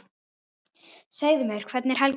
Segðu mér, hvernig er helgin?